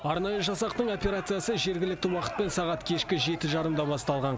арнайы жасақтың операциясы жергілікті уақытпен сағат кешкі жеті жарымда басталған